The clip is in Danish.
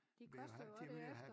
De koster jo også derefter